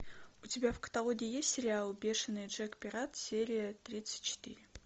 у тебя в каталоге есть сериал бешеный джек пират серия тридцать четыре